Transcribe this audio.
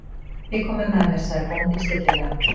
Þið komið með mér, sagði bóndinn stillilega.